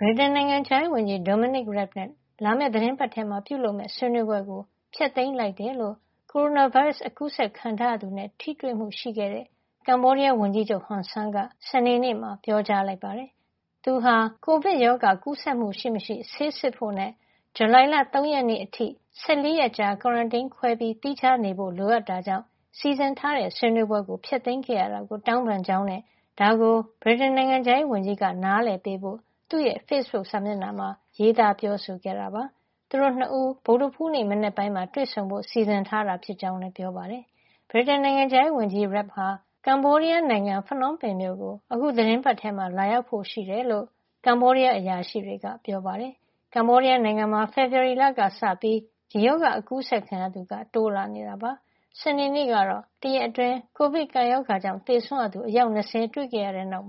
ဗြိတိန်နိုင်ငံခြားရေးဝန်ကြီး Dominic Raab နဲ့ လာမယ့်သီတင်းပတ်ထဲ ပြုလုပ်မယ့် ဆွေးနွေးပွဲကို ဖျက်သိမ်းလိုက်တယ်လို့ ကိုရိုနာဗိုင်းရပ်စ် ကူးစက်ခံထားရသူနဲ့ ထိတွေ့မှုရှိခဲ့တဲ့ ကမ္ဘောဒီးယားဝန်ကြီးချုပ် Hun Sen က စနေနေ့မှာ ပြောကြားလိုက်ပါတယ်။ သူဟာ ကိုဗစ်ရောဂါ ကူးစက်မှုရှိမရှိ ဆေးစစ်ဖို့နဲ့ ဇူလိုင်လ ၃ ရက်နေ့အထိ ၁၄ ရက် ကွာရန်တင်း ခွဲပြီး သီးခြားနေဖို့ လိုအပ်တာကြောင့် စီစဉ်ထားတဲ့ ဆွေးနွေးပွဲ ဖျက်သိမ်းခဲ့ရတာကို တောင်းပန်ကြောင်းနဲ့ ဒါကို ဗြိတိန်နိုင်ငံခြားရေးဝန်ကြီးက နားလည်ပေးဖို့ သူ့ရဲ့ ဖေ့စ်ဘုတ်စာမျက်နှာမှာ ရေးသား ပြောဆိုခဲ့တာပါ။ သူတို့ ၂ ဦး ဗုဒ္ဓဟူးနေ့ မနက်ပိုင်းမှာ တွေ့ဆုံဖို့ စီစဉ်ထားတာဖြစ်ကြောင်းလည်း ပြောပါတယ်။ ဗြိတိန်နိုင်ငံခြားရေးဝန်ကြီး Rabb ဟာ ကမ္ဘောဒီးယားနိုင်ငံ ဖနွမ်းပင်မြို့ကို အခု သီတင်းပတ်ထဲမှာ လာရောက်ဖို့ရှိတယ်လို့ ကမ္ဘောဒီးယားအရာရှိတွေက ပြောပါတယ်။ ကမ္ဘောဒီးယားနိုင်ငံမှာ ဖေဖော်ဝါရီလကစပြီး ဒီရောဂါ ကူးစက်ခံရသူ တိုးလာနေတာပါ။ စနေနေ့ကတော့ တရက်အတွင်း ကိုဗစ်ကပ်ရောဂါကြောင့် သေဆုံးရသူ အယောက် ၂၀ တွေ့ခဲ့ရတဲ့နောက်